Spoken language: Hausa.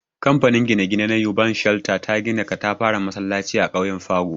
Kamfanin gine-gine na Urban Shelter, ta gina katafaren masallaci a ƙauyen Pago.